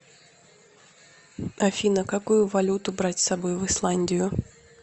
афина какую валюту брать с собой в исландию